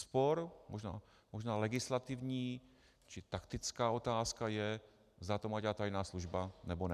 Spor, možná legislativní či taktická otázka je, zda to má dělat tajná služba, nebo ne.